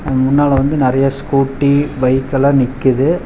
அது முன்னால வந்து நறைய ஸ்கூட்டி பைக் எல்லா நிக்கிது.